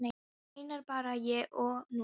Við vorum einar, bara ég og hún.